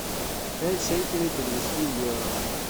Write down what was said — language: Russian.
пять шекелей перевести в евро